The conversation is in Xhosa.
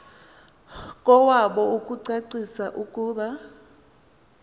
kowabo ukucacisa ukuba